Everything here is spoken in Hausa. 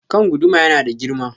Kan guduma ya nada girma.